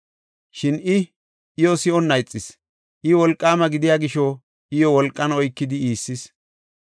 Shin I iyo si7onna ixis. I wolqaama gidiya gisho, iyo wolqan oykidi iissis.